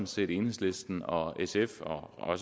set enhedslisten og sf og